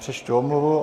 Přečtu omluvu.